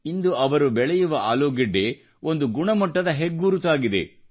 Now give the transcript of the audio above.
ಇಂದು ಅವರು ಬೆಳೆಯುವ ಆಲೂಗೆಡ್ಡೆ ಅತ್ಯುತ್ತಮ ಗುಣಮಟ್ಟದ ಹೆಗ್ಗುರುತಾಗಿದೆ